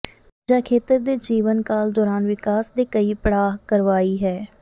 ਊਰਜਾ ਖੇਤਰ ਦੇ ਜੀਵਨ ਕਾਲ ਦੌਰਾਨ ਵਿਕਾਸ ਦੇ ਕਈ ਪੜਾਅ ਕਰਵਾਈ ਹੈ